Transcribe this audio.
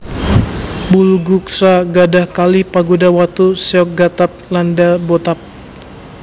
Bulguksa gadhah kalih pagoda watu Seokgatab lan Dabotab